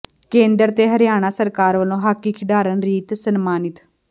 ਕੇਂਦਰ ਤੇ ਹਰਿਆਣਾ ਸਰਕਾਰ ਵੱਲੋਂ ਹਾਕੀ ਖਿਡਾਰਨ ਰੀਤ ਸਨਮਾਨਿਤ